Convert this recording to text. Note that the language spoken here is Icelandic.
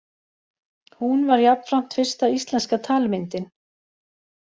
Hún var jafnframt fyrsta íslenska talmyndin.